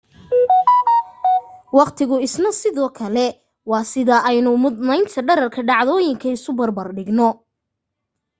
waqtigu isna sidoo kale waa sida aynu muddaynta dhererka dhacdooyinka isu barbar dhigno